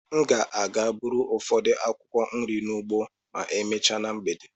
M ga-aga gbụrụ ụfọdụ akwụkwọ nri n'ugbo ma emechaa na mgbede.